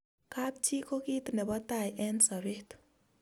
kap chi ko kit nebo tai eng' sabet